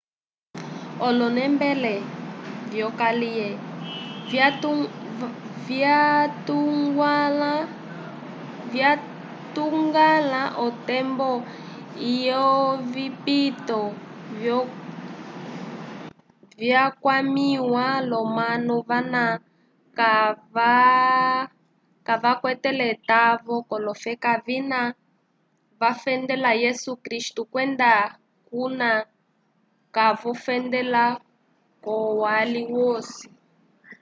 olonembele vyokaliye vyatuñgwãla otembo ilo yovipito vyakwamĩwa l'omanu vana kavakwetele etavo k'olofeka vina vafendela yesu kristu kwenda kuna kavofendela k'olwali lwosi